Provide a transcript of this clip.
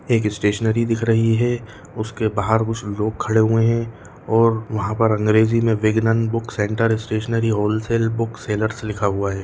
एक स्टेशनरी दिख रही है उसके बाहर कुछ लोग खडे हुए हैं और वहाँ पर अंग्रेज़ी में Vignan book centre stationery wholesale book sellers लिखा हुआ है।